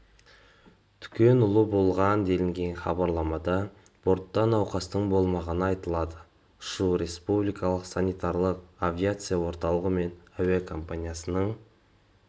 түкенұлы болған делінген хабарламада бортта науқастың болмағаны айтылады ұшу республикалық санитарлық авиация орталығы мен әуекомпаниясының